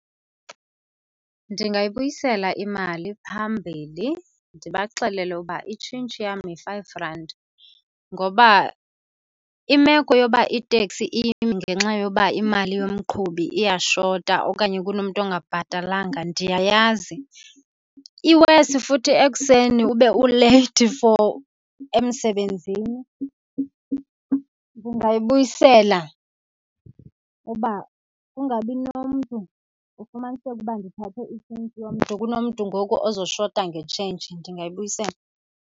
Ndingayibuyisela imali phambili ndibaxelele ukuba itshintshi yam yi-five rand ngoba imeko yoba iteksi ime ngenxa yoba imali yomqhubi iyashota okanye kunomntu ongabhatalanga ndiyayazi. I-worse futhi ekuseni ube uleyithi for emsebenzini. Ndingayibuyisela uba kungabi nomntu ufumaniseke uba ndithathe itshintshi yomntu, kunomntu ngoku ozoshota nge-change, ndingayibuyisela.